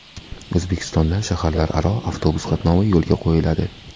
O‘zbekistonda shaharlararo avtobus qatnovi yo‘lga qo‘yiladi.